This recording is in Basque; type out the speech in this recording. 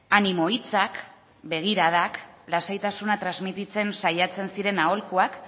animo hitzak begiradak lasaitasuna transmititzen saiatzen ziren aholkuak